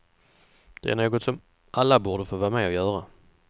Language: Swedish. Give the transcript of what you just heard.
Det är något som alla borde få vara med och göra.